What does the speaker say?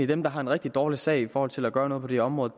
dem der har en rigtig dårlig sag i forhold til at gøre noget på det område